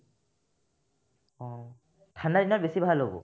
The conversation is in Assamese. অ, ঠাণ্ডাদিনত বেছি ভাল হ'ব